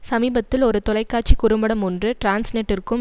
சமீபத்தில் ஒரு தொலைக்காட்சி குறும்படம் ஒன்று டிரான்ஸ்நெட்டிற்கும்